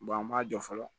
an b'a jɔ fɔlɔ